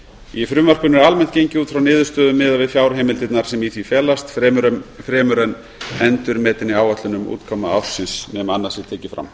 í frumvarpinu er almennt gengið út frá niðurstöðum miðað við fjárheimildirnar sem í því felast fremur en endurmetinni áætlun um útkomu ársins nema annað sé tekið fram